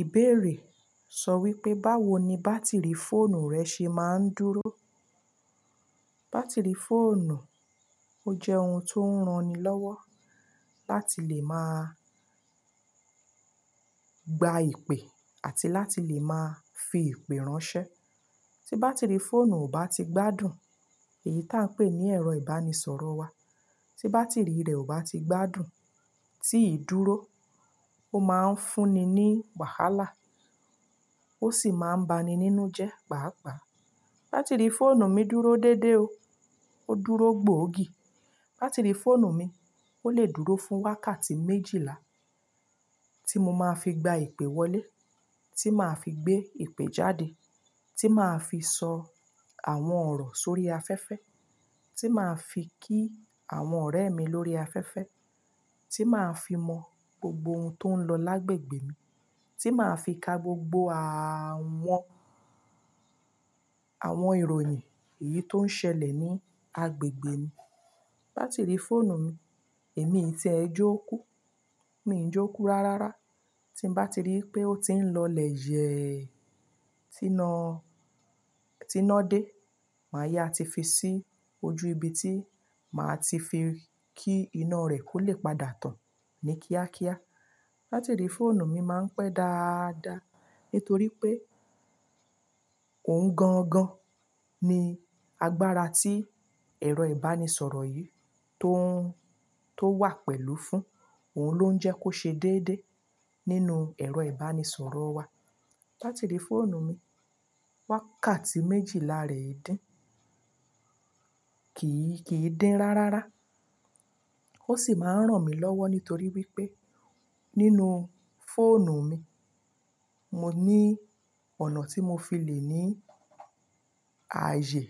Ìbéèrè sọ wípé báwo ni bátìrì fóònù rẹ ṣe máa ń dúró? Bátìrì fóònù ó jẹ́ òun tó ń ràn ni lọ́wọ́. Láti lè máa gba ìpè àti láti lè máa fi ìpè ránṣẹ́. Tí bátìrì fóònù ó bá ti gbádùn èyí tá ń pè ní ẹ̀rọ ìbánisọ̀rọ̀ wa tí bátìrì rẹ̀ ò bá ti gbádùn, tí ì dúró, ó máa ń fúnni ní wàhálà ó sì máa ń ba ni nínú jẹ́ pàápà. Bátìrì fóònù mi dúró dédé o, ó dúró gboogi. Bátìrì fóònù mi ó lè dúró fún wákàtí méjìlá tí mo máa fi gba ìpè wọlé, tí màá fi gbé ìpè jáde, tí màá fi sọ àwọn ọ̀rọ̀ sórí afẹ́fẹ́, tí màá fi kí àwọn ọ̀rẹ́ mi lórí afẹ́fẹ́, tí màá fi mọ gbogbo ohun tó ń lọ lágbègbè mi, tí màá fi ka gbogbo a-àwọn, àwọn ìròyìn èyí tó ń ṣẹlẹ̀ ní agbègbè mi. Bátìrì fóònù mi, èmi tí ẹ jókú, mi n jókú rárára. Tí n bá ti rí i pé ó ti ń lọ lè yẹ̀, tí na, tí na dé, màá yá ti fi sí ojú ibi tí màá ti fi kí iná rẹ̀ kó lè padà tán ní kíákíá. Bátìrì fóònù mi máa ń pé dáadáa ítorí pé òun gangan ni agbára tí ẹ̀rọ ìbánisọ̀rọ̀ yìí tó ń, tó wà pẹ̀lú fún òun ló ń jẹ́ kó ṣe déédéé nínú ẹ̀rọ ìbánisọ̀rọ̀ wa. Bátìrì fóònù mi, wákàtí méjìlá rè i dín, kì í, kì í dín rárára. Ó sì máa ń ràn mí lọ́wọ́ nítorí wípé nínú fóònù mi, mo ní ọ̀nà tí mo fi lè ní ààyè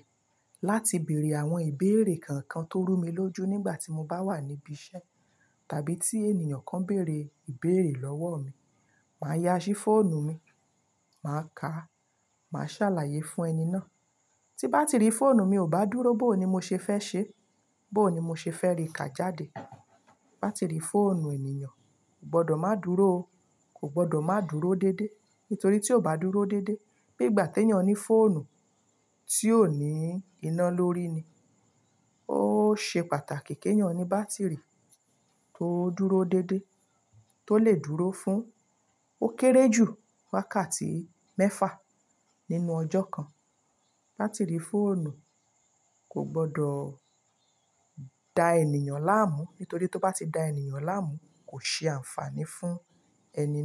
láti bèèrè àwọn ìbéèrè kankan tó rú mi lójú nígbà tí mo bá wà níbí iṣẹ́ tàbí tí ènìyàn kan béèrè ìbéèrè lọ́wọ́ mi. Màá yá ṣí fóònù mi, màá ka, màá ṣàlàyé fún ẹni náà. Tí bátìrì fóònù mi ò bá dúró bó o ni mo ṣe fẹ́ ṣe, bó o ni mo ṣe fẹ́ rí ka jáde. Bátìrì fóònù ènìyàn gbọ́dọ̀ máa dúró o, kò gbọ́dọ̀ máa dúró dédé ítorí tí ó bá dúró dédé, bí ìgbà te èèyàn ní fóònù tí ò ní iná lórí ni, ó ṣe pàtàkì kí èèyàn ní bátìrì tó dúró dédé, tó lè dúró fún ó kéré jù wákàtí mẹ́fà nínú ọjọ́ kan. Bátìrì fóònù kò gbọdọ̀ da ènìyàn láàmú nítorí tí ó bá ti da ènìyàn láàmú kò ṣe àǹfààní fún ẹni.